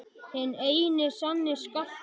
Hinn eini sanni Skarpi!